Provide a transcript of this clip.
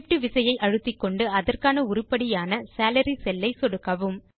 Shift விசையை அழுத்திக்கொண்டு அதற்கான உருப்படியான சாலரி செல்லை சொடுக்கவும்